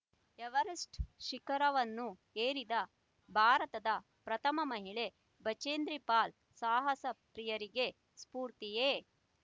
Everest ಶಿಖರವನ್ನು ಏರಿದ ಭಾರತದ ಪ್ರಥಮ ಮಹಿಳೆ ಬಚೇಂದ್ರಿಪಾಲ್ ಸಾಹಸ ಪ್ರಿಯರಿಗೆ ಸ್ಫೂರ್ತಿಯೆ